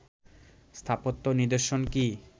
স্থাপত্য নিদর্শন কি